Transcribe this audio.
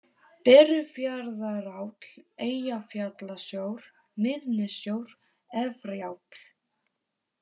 Berufjarðaráll, Eyjafjallasjór, Miðnessjór, Efriáll